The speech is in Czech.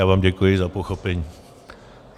Já vám děkuji za pochopení.